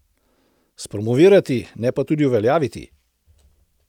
Spromovirati, ne pa tudi uveljaviti!